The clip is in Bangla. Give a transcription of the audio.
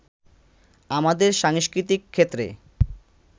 আমাদের সাংস্কৃতিক ক্ষেত্রে